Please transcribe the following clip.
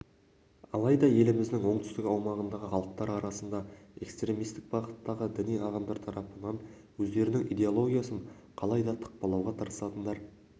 алайда еліміздің оңтүстік аумағындағы халықтар арасында экстремистік бағыттағы діни ағымдар тарапынан өздерінің идеологиясын қалайда тықпалауға тырысатындар